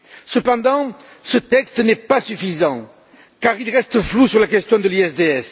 Cependant, ce texte n'est pas suffisant, car il reste flou sur la question du RDIE.